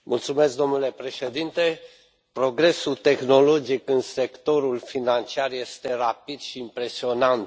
Mulțumesc, domnule președinte, progresul tehnologic în sectorul financiar este rapid și impresionant.